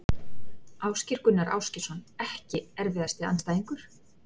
Ásgeir Gunnar Ásgeirsson EKKI erfiðasti andstæðingur?